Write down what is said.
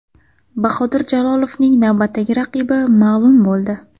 Bahodir Jalolovning navbatdagi raqibi ma’lum bo‘ldi.